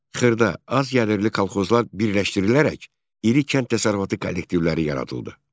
Xırda, az gəlirli kolxozlar birləşdirilərək iri kənd təsərrüfatı kollektivləri yaradıldı.